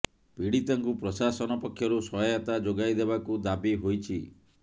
ପୀଡିତାଙ୍କୁ ପ୍ରଶାସନ ପକ୍ଷରୁ ସହାୟତା ଯୋଗାଇ ଦେବାକୁ ଦାବି ହୋଇଛି